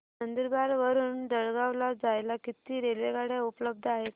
नंदुरबार वरून जळगाव ला जायला किती रेलेवगाडया उपलब्ध आहेत